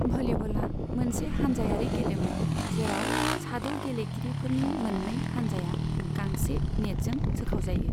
भलिबला मोनसे हानजायारि गेलेमु जेराव साद' गेलेगिरिफोरनि मोन्नै हानजाया गांसे नेटजों सोखावजायो।